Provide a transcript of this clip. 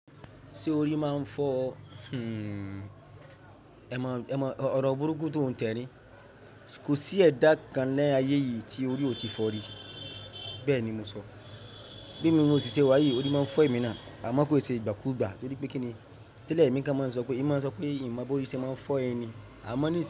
Ṣé orí máa ń fọ? Hmmm ẹ̀ mọ, ẹ̀ mọ ọ̀rọ̀ burúkú tó ń tẹni. Kò sí ẹ̀dá kan lé ayé yìí tí orí ò tí fọ rí. Bẹ́ẹ̀ ni mo sọ. Bí i mi mọ ṣìṣẹ́ wá yìí, orí máa ń fọ emí náà. Àmọ́ kó ṣe ìgbàkúùgbà torí pé kí ni tẹ́lẹ̀ emi kán máa ń sọ pé emi máa ń sọ pé mimo bóríṣẹ́ máa ń fọ ẹni. Àmọ́ nísi n yi.